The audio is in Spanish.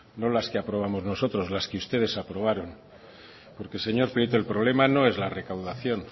no las que aprobamos nosotros las que ustedes aprobaron porque señor prieto el problema no es la recaudación